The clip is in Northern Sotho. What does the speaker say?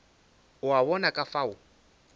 o a bona ka fao